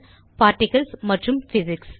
particles மற்றும் physics